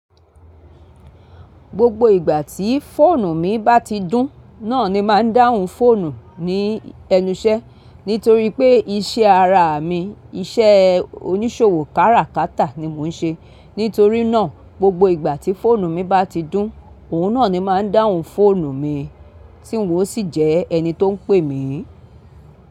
Gbogbo ìgbà tí fóònù mi bá ti dún, náà ni máa ń dáhùn fóònù ní ẹnú iṣẹ́. Nítorí pé iṣẹ́ ara mi, iṣẹ́ oníṣòwò kárakátà ni mò ń ṣe. Nítorí náà, gbogbo ìgbà tí fóònù mi bá ti dún, òun náà ni máa ń dáhùn fóònù mi, tí n ó sì jẹ́ ẹni tó ń pè mí.